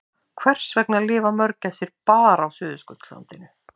Hvers vegna lifa mörgæsir bara á Suðurskautslandinu?